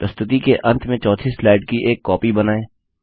प्रस्तुति के अंत में चौथी स्लाइड की एक कॉपी बनाए